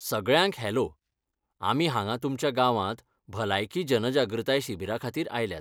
सगळ्यांक हॅलो, आमी हांगा तुमच्या गांवांत भलायकी जनजागृताय शिबिराखातीर आयल्यात.